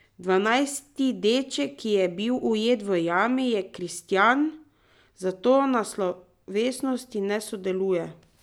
Dvanajsti deček, ki je bil ujet v jami, je kristjan, zato na slovesnosti ne sodeluje.